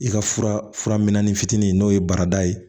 I ka fura fura mɛni fitinin n'o ye barada ye